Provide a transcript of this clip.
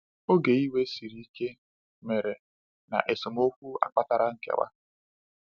“Oge iwe siri ike” mere, na esemokwu a kpatara nkewa.